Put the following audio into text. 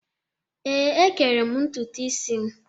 Ee, ékẹrè m ntutu isi m.